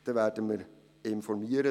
dann werden wir darüber informieren.